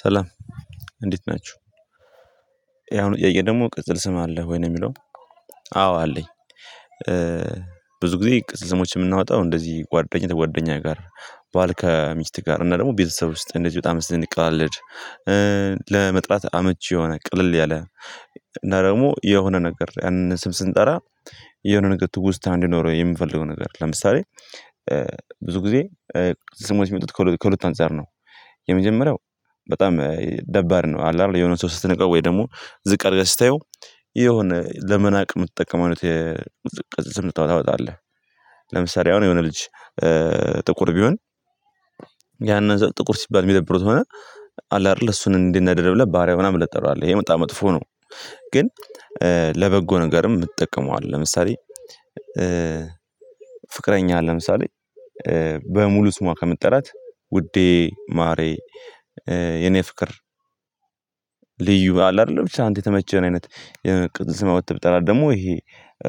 ሰላም! እንዴት ናችሁ? ያው አሁን ኤአይ ደግሞ ቅጽል ስም አለህ ወይ ነው የሚለው። አዎ አለኝ። ብዙ ጊዜ ቅጽል ስሞችን ምናወጣው እንደዚህ ጓደኛ ጓደኛ ጋር ባል ከሚስት ጋር እና ደግሞ ቤተሰብ ውስጥ እንደዚህ በጣም ስንቀላለድ ለመጥራት አመች የሆነ ቀለል ያለ እና ደግሞ የሆነ ነገር ያንን ስም ስንጠራ የሆነ ነገር ትውስታ እንዲኖረው የምንፈልገው ነገር ለምሳሌ ብዙ ጊዜ ቅጽል ስሞች ሚወጡት ከሁለት አንፃር ነው። የመጀመሪያው በጣም ደባሪ ነው። አለ አይደል የሆነ ሰው ስትነቀው ወይ ደግሞ ዝቅ አድርገህ ስታየው የሆነ ለመናቅ የምትጠቀመው አይነት የቅጽል ስም ታወጣለህ። ለምሳሌ አሁን የሆነ ልጅ ጥቁር ቢሆን እና ጥቁር ሲባል የሚደብረው ከሆነ አለ አይደለ እሱን እንዲናደድ ብለህ ባሪያ ምናምን ብለህ ትጠራዋለህ። ይሄ በጣም መጥፎ ነው። ግን ለበጎ ነገርም እንጠቀመዋለን። ለምሳሌ ፍቅረኛህን ለምሳሌ በሙሉ ስሟ ከምትጠራት ውዴ ማሬ የኔ ፍቅር ልዩ አለ አይደለም ብቻ አንተ የተመቸህን አይነት የቅጽል ስም አውጥተህ ብጠራት ደግሞ ይሄ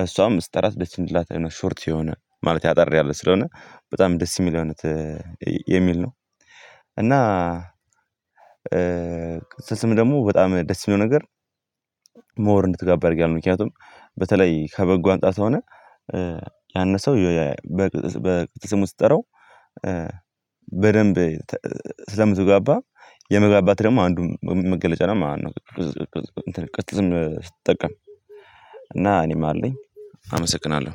እሷም ስትራት ደስ እንዲላት አይነት ሾርት የሆነ ማለት አጠር ያለ ስለሆነ በጣም ደስ የሚል አይነት የሚል ነው። እና ስም ደግሞ በጣም ደስ የሚለው ነገር ሞር እንድትግባባ ያደርጋል። ምክንያቱም በተለይ ከበጎ አንፃር ከሆነ ያን ሰው በቅጽል ስሙ ስትጠራው በደንብ ስለምትግባባ የመግባባት ደግሞ አንዱ መገለጫ ነው ማለት ነው ቅጽል ስም ስትጠቀም እና እኔም አለኝ። አመሰግናለሁ!